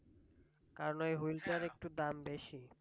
কারণ wheel টার একটু দাম বেশি।